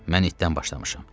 Mən ittdən başlamışam.